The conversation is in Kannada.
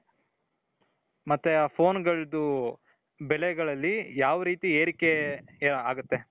ಮತ್ತೆ phoneಗಳದ್ದು ಬೆಲೆಗಳಲ್ಲಿ ಯಾವ್ ರೀತಿ ಏರಿಕೆ ಆಗುತ್ತೆ ?